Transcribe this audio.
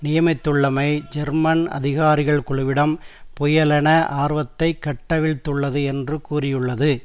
நியமித்துள்ளமை German அதிகாரிகள் குழுவிடம் புயலென ஆர்வத்தை கட்டவிழ்த்துள்ளது என்று கூறியுள்ளது